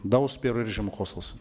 дауыс беру режимі қосылсын